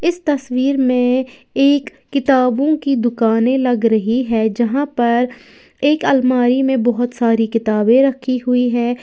इस तस्वीर में एक किताबों की दुकानें लग रही है जहां पर एक अलमारी में बहुत सारी किताबें रखी हुई हैं।